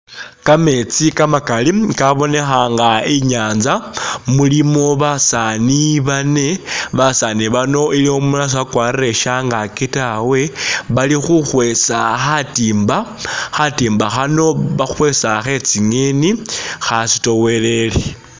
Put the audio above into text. Kametsi kamakali kabonekha nga inyanza, mulimo basaani bane, basaani bano iliwo umulala siwakwarire shyangaki tawe, Bali khukhwesa khatimba, khatimba khano bakhwesa khe tsi'ngeni khasitowelele